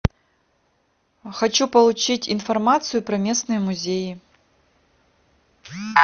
хочу получить информацию про местные музеи